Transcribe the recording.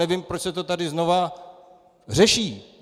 Nevím, proč se to tady znova řeší.